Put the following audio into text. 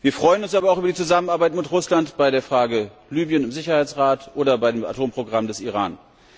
Wir freuen uns aber auch über die Zusammenarbeit mit Russland bei der Frage Libyen im Sicherheitsrat oder bei dem Atomprogramm des Iran.